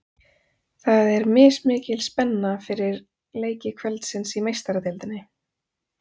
Það er mismikil spenna fyrir leiki kvöldsins í Meistaradeildinni.